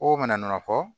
O mana fɔ